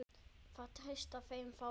Það treysta þeim fáir.